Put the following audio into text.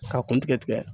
K'a kun tigɛ tigɛ